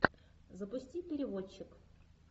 запусти переводчик